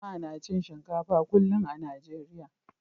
Jama'a na cin shinkafa kullum a Najeriya.